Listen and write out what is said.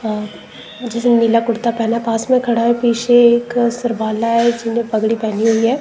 और जिसने नीला कुर्ता पहना है पास में खड़ा है पीछे एक सरबाला है जिसने पगड़ी पहनी हुई है।